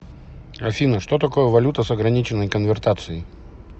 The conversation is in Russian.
афина что такое валюта с ограниченной конвертацией